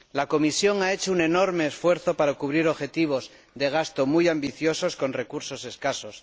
La Comisión ha hecho un enorme esfuerzo para cubrir objetivos de gasto muy ambiciosos con recursos escasos.